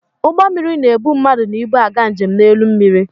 Ụgbọ mmịrị ba-ebu mmadụ na ibu aga njem n'elu mmịrị.